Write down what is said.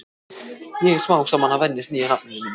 Ég er smám saman að venjast nýja nafninu mínu.